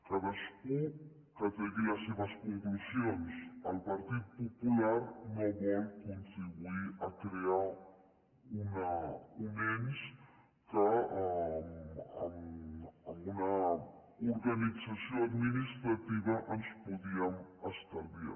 cadascú que tregui les seves conclusions el partit popular no vol contribuir a crear un ens que amb una organització administrativa ens podíem estalviar